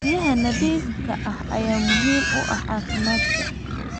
Biyaha nadiifka ah ayaa muhiim u ah caafimaadka.